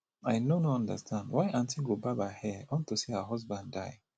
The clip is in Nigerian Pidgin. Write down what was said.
i no no understand why aunty go barb her hair unto say her husband die